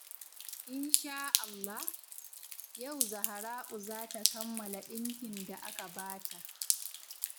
In shaa Allah, yau Zahra'u za ta kammala ɗinkin da aka ba ta.